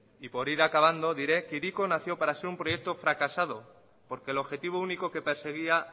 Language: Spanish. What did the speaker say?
y por ir acabando diré que hiriko nació para ser un proyecto fracasado porque el objetivo único que perseguía